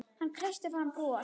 Hann kreisti fram bros.